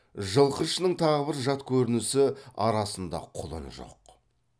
жылқы ішінің тағы бір жат көрінісі арасында құлын жоқ